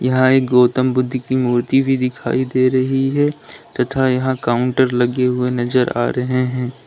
यहां एक गौतम बुद्ध की मूर्ति भी दिखाई दे रही है तथा यहां काउंटर लगे हुए नजर आ रहे हैं।